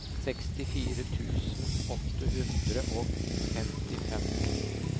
sekstifire tusen åtte hundre og femtifem